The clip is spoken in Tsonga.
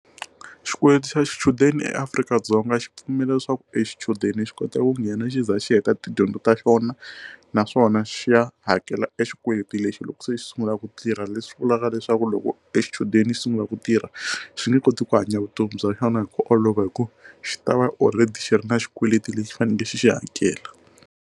Xikweleti xa xichudeni eAfrika-Dzonga xi pfumela leswaku eer xichudeni xi kota ku nghena xi ze xi heta tidyondzo ta xona naswona xi ya hakela xikweleti lexi loko se xi sungula ku tirha leswi vulaka leswaku loko xichudeni xi sungula ku tirha xi nge koti ku hanya vutomi bya xona hi ku olova ku xi ta va or red xi ri na xikweleti lexi faneleke xi xi hakela.